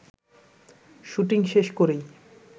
shooting শেষ করেই